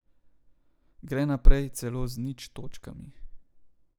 Gre naprej celo z nič točkami.